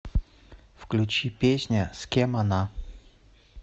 включи песня с кем она